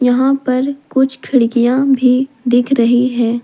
यहां पर कुछ खिड़कियां भी दिख रही हैं।